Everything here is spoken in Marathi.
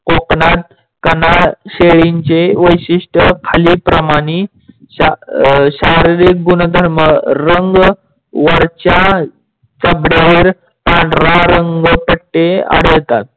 कोकणात कनाड शेळी चे वैशिष्टय खालील प्रमाणे. शारीरिक गुणधर्म रंग वरच्या चबळ्यावर पंढरा रंग पट्टे आढळतात.